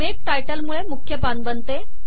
make title मुळे मुख्य पान बनते